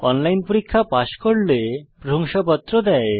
online পরীক্ষা pass করলে প্রশংসাপত্র দেয়